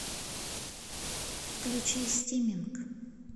включи стиминг